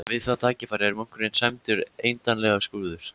Við það tækifæri er munkurinn sæmdur endanlegum skrúða.